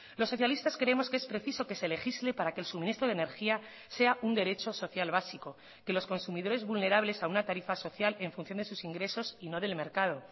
los socialistas creemos que es preciso que se legisle para que el suministro de energía sea un derecho social básico que los consumidores vulnerables a una tarifa social en función de sus ingresos y no del mercado